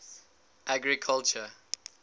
agriculture